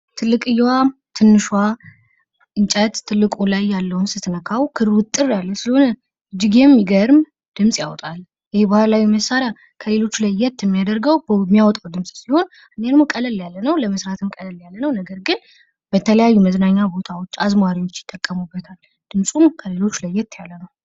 ትልቅየዋ ትንሿ እንጨት ትልቁ ላይ ያለውን ስትነካው ክሩ ውጥር ያለ ስለሆነ እጅግ የሚገርም ድምፅ ያወጣል ይሄ ባህላዊ መሳሪያ ከሌሎቹ ለየት የሚያደርገው የሚያወጣው ድምፅ ሲሆን አንደኛ ደሞ ቀለል ያለ ነው ለመስራትም ቀለል ያለ ነው ነገር ግን በተለያዩ መዝናኛ ቦታዎች አዝማሪዎች ይጠቀሙበታል ድምፁም ከሌሎች ለየት ያለ ነው